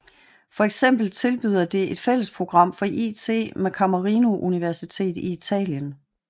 For eksempel tilbyder det et fællesprogram for it med Camerino Univeritet i Italien